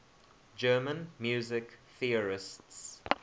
german music theorists